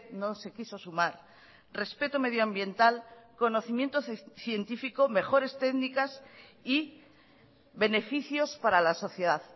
no se quiso sumar respeto medioambiental conocimiento científico mejores técnicas y beneficios para la sociedad